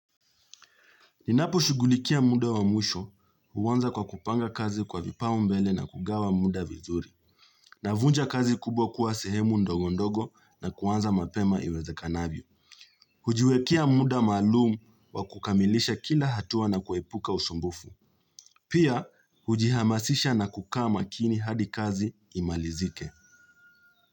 Ninaposhughulikia muda wa mwisho huanza kwa kupanga kazi kwa vipau mbele na kugawa muda vizuri. Navunja kazi kubwa kuwa sehemu ndogo ndogo na kuanza mapema iwezekanavyo. Hujiwekea muda maalumu wa kukamilisha kila hatua na kwepuka usumbufu. Pia hujihamasisha na kukaa makini hadi kazi imalizike.